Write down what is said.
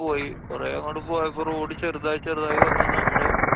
പോയി. കൊറേ അങ്ങട്ടു പോയപ്പോ road ചെറുതായി ചെറുതായി വന്ന്‌ നമ്മള്